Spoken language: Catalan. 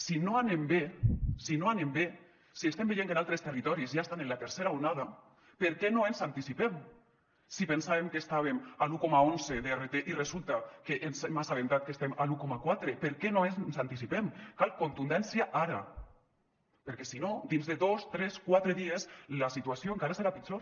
si no anem bé si no anem bé si estem veient que en altres territoris ja estan en la tercera onada per què no ens anticipem si pensàvem que estàvem a l’un coma onze d’rt i resulta que ens hem assabentat que estem al un coma quatre per què no ens anticipem cal contundència ara perquè si no dins de dos tres quatre dies la situació encara serà pitjor